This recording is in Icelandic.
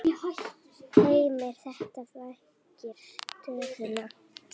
Heimir: Þetta flækir stöðuna?